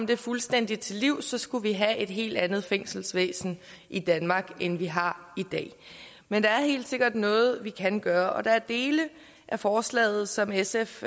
det fuldstændig til livs for så skulle vi have et helt andet fængselsvæsen i danmark end vi har i dag men der er helt sikkert noget vi kan gøre og der er dele af forslaget som sf